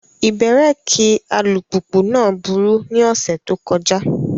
Ibẹ̀rẹ̀kì alùpùpù náà burú ní ọ̀sẹ̀ tó kọjá.